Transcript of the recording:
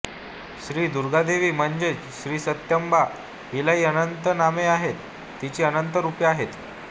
श्रीदुर्गादेवी म्हणजेच श्रीसत्याम्बा हिलाही अनंत नामे आहेत तिची अनंत रुपे आहेत